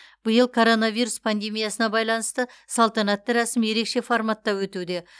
биыл коронавирус пандемиясына байланысты салтанатты рәсім ерекше форматта өтуде